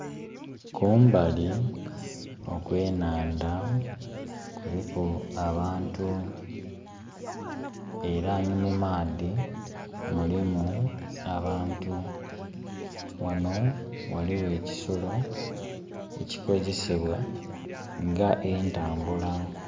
Kumbali okwe nandha kuliku abantu era ni mu maadhi mulimu abantu. Ghano ghaligho ekisolo ekikozesebwa nga entambula.